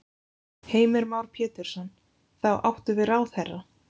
Heimir Már Pétursson: Þá áttu við ráðherra?